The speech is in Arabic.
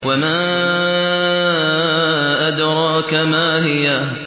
وَمَا أَدْرَاكَ مَا هِيَهْ